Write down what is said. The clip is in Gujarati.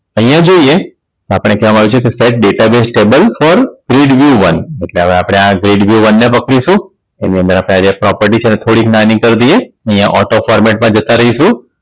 અહીંયા જોઈએ આપણે કહેવામાં આવ્યું છે કે Data Base Table for pred view one એટલે હવે આપણે આ Red View One ને રોકીશું એને અંદર આપણે property ને થોડી નાની કરી દઈએ અને અહીંયા Auto format માં જતા રહેશું